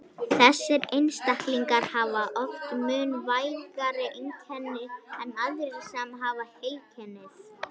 Þessir einstaklingar hafa oft mun vægari einkenni en aðrir sem hafa heilkennið.